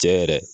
Cɛ yɛrɛ